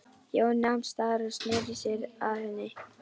Jón nam staðar og sneri sér að henni.